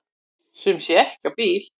Sum sé ekki á bíl.